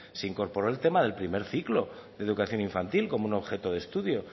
se incorporó el tema del primer ciclo de educación infantil como un objeto de estudio